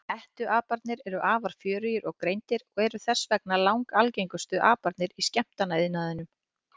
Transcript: Hettuaparnir eru afar fjörugir og greindir og eru þess vegna langalgengustu aparnir í skemmtanaiðnaðinum.